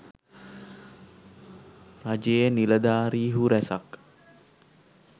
රජයේ නිලධාරීහු රැසක්